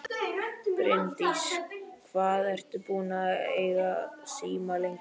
Bryndís: Hvað ert þú búinn að eiga síma lengi?